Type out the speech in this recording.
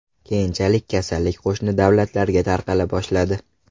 Keyinchalik kasallik qo‘shni davlatlarga tarqala boshladi.